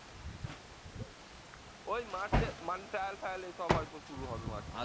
ওই মার্চে মানে trial ফায়াল এইসব হয়তো শুরু হবে মার্চে